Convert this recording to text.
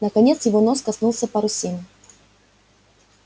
наконец его нос коснулся парусины